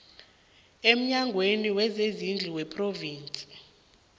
emnyangweni wezezindlu wephrovinsi